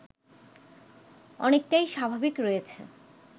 অনেকটাই স্বাভাবিক রয়েছে